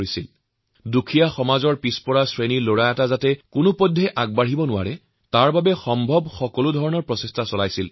বহুবাৰ হতাশ কৰাৰ চেষ্টা হৈছে যাতে দুখীয়া পৰিয়ালৰ এটি লৰাই জীৱন সফল হব নোৱাৰে